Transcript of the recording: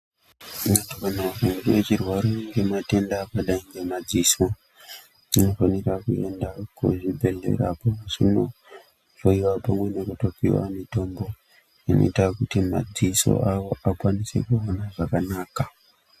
Vantu vane chirwere chakadai nematenda emadziso vakofanira kuenda kuzvibhehlera, vopihwa mitombo inoita kudziso madziso avo akwanise kuona zvakanaka.